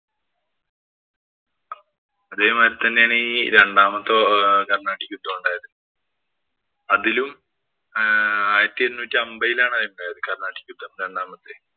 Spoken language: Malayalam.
അതേമാതിരി തന്നെയാണ് രണ്ടാമത്തെ കര്‍ണ്ണാട്ടിക് യുദ്ധം ഉണ്ടായത്. അതിലും ആയിരത്തി എണ്ണൂറ്റി അമ്പതിലാണ് അതുണ്ടായത് കര്‍ണ്ണാട്ടിക് യുദ്ധം രണ്ടാമത്തെ.